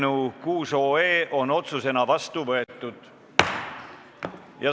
Eelnõu on otsusena vastu võetud.